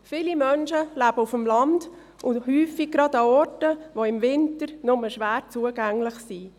Viele Menschen leben auf dem Land und häufig auch gerade an Orten, die im Winter nur schwer zugänglich sind.